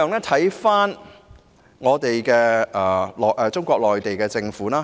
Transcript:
此外，可看看中國內地的情況。